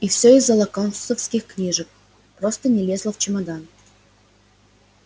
и всё из-за локонсовских книжек просто не лезла в чемодан